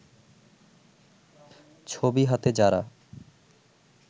ছবি হাতে যারা